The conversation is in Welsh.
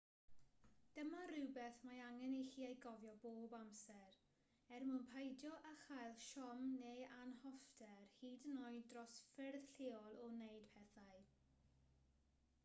dyma rywbeth mae angen i chi ei gofio bob amser er mwyn peidio â chael siom neu anhoffter hyd yn oed dros ffyrdd lleol o wneud pethau